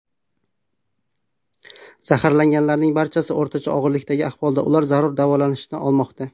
Zaharlanganlarning barchasi o‘rtacha og‘irlikdagi ahvolda, ular zarur davolanishni olmoqda.